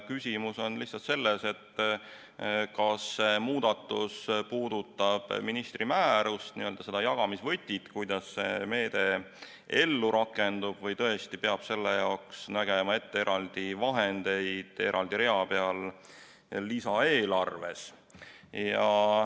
Küsimus on lihtsalt selles, kas see muudatus puudutab ministri määrust, seda jagamisvõtit, kuidas see meede ellu rakendub, või tõesti peab selle jaoks nägema ette eraldi vahendeid eraldi rea peal lisaeelarves.